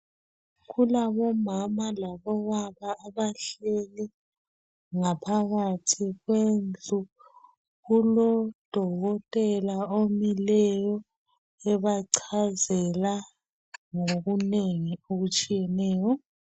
Kulabomama labobaba abahleli ngaphakathi kwendlu. Kulodokotela omileyo ebachazela ngokunengi okutshiyeneyo.